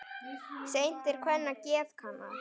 Seint er kvenna geð kannað.